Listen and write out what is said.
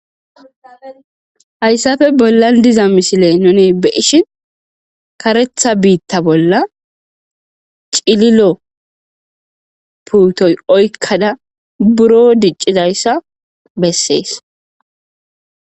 Hayssafe bollan diza misile nuni be ishin karetha biitta bolla cililo puutoy oykkada buro diccizayssa bessees.